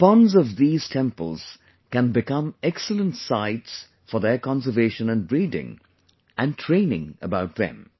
The ponds of theses temples can become excellent sites for their conservation and breeding and training about them